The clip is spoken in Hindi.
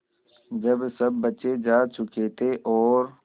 जब सब बच्चे जा चुके थे और